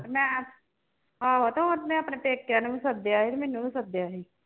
ਮੈਂ ਆਹੋ ਤੇ ਉਹਨੇ ਆਪਣੇ ਪੇਕਿਆਂ ਨੂੰ ਵੀ ਸੱਦਿਆ ਸੀ ਤੇ ਮੈਨੂੰ ਵੀ ਸੱਦਿਆ ਸੀ।